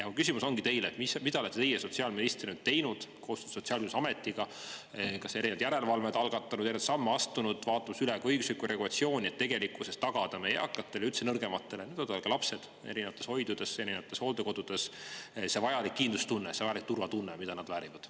Mu küsimus ongi teile, mida olete teie sotsiaalministrina teinud koostöös Sotsiaalkindlustusametiga, kas erinevad järelevalved algatanud, samme astunud, vaadanud üle ka õigusliku regulatsiooni, et tegelikkuses tagada meie eakatele, üldse nõrgematele, ka lapsed erinevates hoidudes, erinevates hooldekodudes, see vajalik kindlustunne, see vajalik turvatunne, mida nad väärivad.